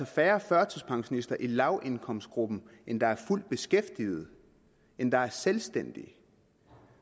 færre førtidspensionister i lavindkomstgruppen end der er fuldt beskæftigede og end der er selvstændige